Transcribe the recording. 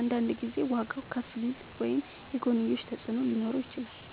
አንዳንድ ጊዜ ዋጋዉ ከፍ ሊል ወይም የጎንዮሽ ተፅዕኖ ሊኖረው ይችላል።